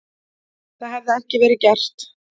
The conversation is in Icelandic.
Það hefði ekki verið gert